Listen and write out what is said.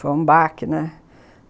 Foi um baque, né?